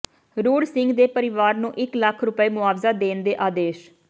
ਰੂੜ ਸਿੰਘ ਦੇ ਪਰਿਵਾਰ ਨੂੰ ਇਕ ਲੱਖ ਰੁਪਏ ਮੁਆਵਜ਼ਾ ਦੇਣ ਦੇ ਆਦੇਸ਼